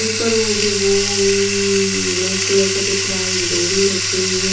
ऊपर मुझे बून ब्लैक कलर का दिख रहा है एक डोरी रखी हुई है ।